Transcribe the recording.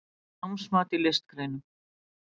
Námsmat í listgreinum